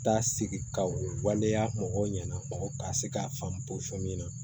Da sigi ka o waleya mɔgɔw ɲɛna ka se k'a faamu min na